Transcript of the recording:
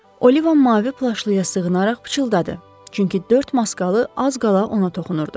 Oliva mavi plaşlıya sığınaraq pıçıldadı, çünki dörd maskalı az qala ona toxunurdu.